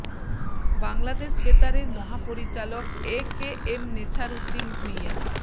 বাংলাদেশ বেতারের মহাপরিচালক A K M Nesar Uddin Bhuiyan